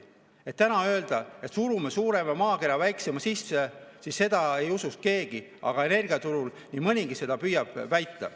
Kui täna öelda, et surume suurema maakera väiksema sisse, siis seda ei usuks keegi, aga energiaturul nii mõnigi seda püüab väita.